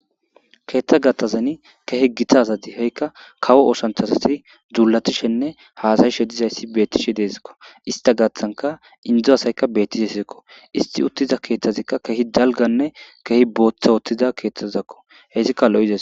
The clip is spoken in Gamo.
keettha gatazani kehe githazadi he7ikka kawo oshanthasasi dzuulatishenne haasayishe dizayssi beettishe deesikko ista gathanka indzo asayka beettishe seekko isti uttiza keeththazikka kehi dalganne kehi booththa uttiza keeththazakko heyssikka lo7de